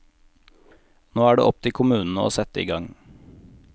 Nå er det opp til kommunene å sette i gang.